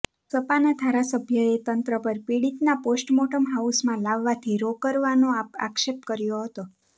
સપાના ધારાસભ્યએ તંત્ર પર પીડિતના પોસ્ટમોટર્મ હાઉસમાં લાવવાથી રોકરવાનો આક્ષેપ કર્યો હતો